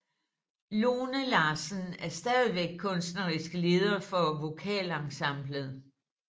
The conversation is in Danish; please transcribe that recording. Lone Larsen er stadigvæk kunstnerisk leder for vokalensemblet